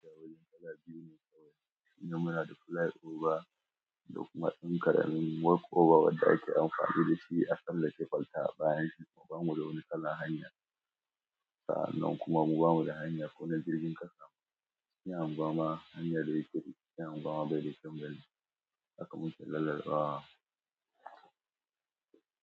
Ya wani kala biyu ne kawai. Inda muna da flyover da kuma ɗan ƙaramin walkover wanda ake amfani dashi a tsallake ƙwalta bayan shi bamu da wani kalar hanya. Sa'an nan kuma mu ba mu da hanya ko na jirgin kasa. Ya unguwa ma hanya da yake bi ya unguwa ma bai da kyan gani haka muke lallaɓawa.